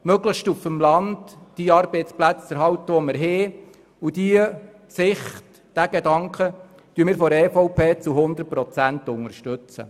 Die Sichtweise, die Arbeitsplätze auf dem Land möglichst zu erhalten, unterstützen wir seitens der EVP zu 100 Prozent.